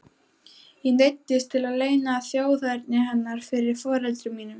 Ég neyddist til að leyna þjóðerni hennar fyrir foreldrum mínum.